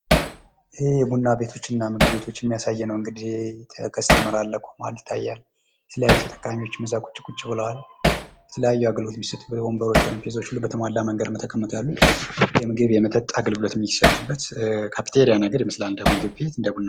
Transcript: ይሄ ቡና የቤቶችና ምግብ ቤቶች የሚያሳይ ነው እንግዲህ ከስተመር አለ ቁሟል። የተለያዩ ተጠቃሚዎች ቁጭ ቁጭ ብለዋል። የተለያዩ አገልግሎቶችን ወንበሮች ጠረጴዛዎች በተሟላ መንገድ የተቀመጡ ያሉት። የምግብ የመጠጥ አገልግሎት የሚሰጥበት ካፍቴሪያ ነገር ይመስላል።